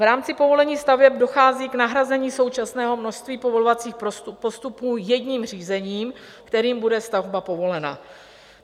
V rámci povolení staveb dochází k nahrazení současného množství povolovacích postupů jedním řízením, kterým bude stavba povolena.